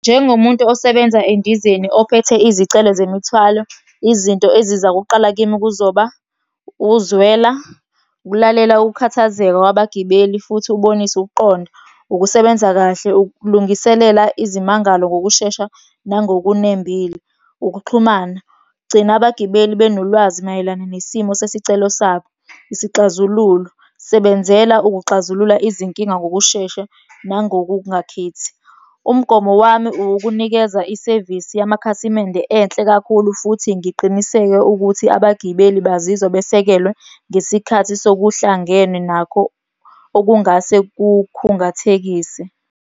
Njengomuntu osebenza endizeni ophethe izicelo zemithwalo, izinto eziza kuqala kimi kuzoba, ukuzwela, ukulalela ukukhathazeka kwabagibeli futhi ubonise ukuqonda. Ukusebenza kahle, ukulungiselela izimangalo ngokushesha nangokunembile. Ukuxhumana, gcina abagibeli benolwazi mayelana nesimo sesicelo sabo. Isixazululo, sebenzela ukuxazulula izinkinga ngokushesha nangokungakhethi. Umgomo wami ukukunikeza isevisi yamakhasimende enhle kakhulu futhi ngiqiniseke ukuthi abagibeli bazizwa besekelwe ngesikhathi sokuhlangene nakho okungase kukhungathekise.